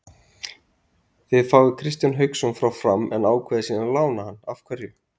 Þið fáið Kristján Hauksson frá Fram en ákveðið svo að lána hann af hverju?